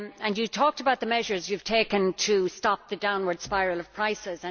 You talked about the measures you have taken to stop the downward spiral of prices.